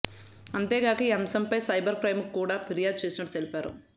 అంతేగాక ఈ అంశం పై సైబర్ క్రైమ్ కు కూడా ఫిర్యాదు చేస్తున్నట్టు తెలిపారు